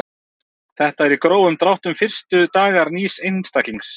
Þetta eru í grófum dráttum fyrstu dagar nýs einstaklings.